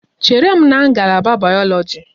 Chere m na ngalaba bayoloji!